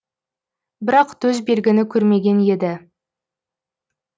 бірақ төс белгіні көрмеген еді